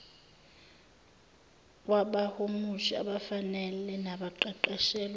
kwabahumushi abafanele nabaqeqeshelwe